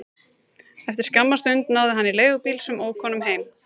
Eftir skamma stund náði hann í leigubíl sem ók honum heim.